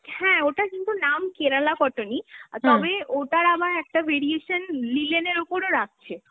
হ্যাঁ, ওটার কিন্ত নাম Kerala cotton ই, আ তবে ওটার আবার একটা variation linen এর ওপরও রাখছে।